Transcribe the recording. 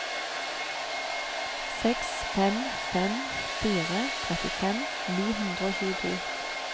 seks fem fem fire trettifem ni hundre og tjueto